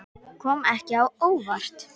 Kom ekki á óvart.